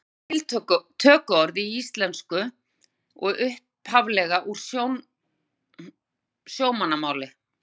Orðin eru tökuorð í íslensku og upphaflega úr sjómannamáli.